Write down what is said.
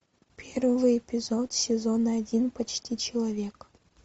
первый эпизод сезона один почти человек